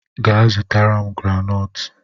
Gaa zụtara m granọọtụ!